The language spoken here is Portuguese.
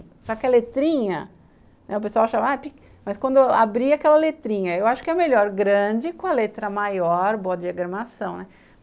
Só que a letrinha, o pessoal achava... Mas quando eu abri aquela letrinha, eu acho que é melhor grande com a letra maior, boa diagramação, né?